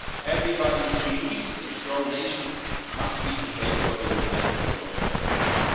own people. Everybody who believes in strong nations must be in favour of a united and democratic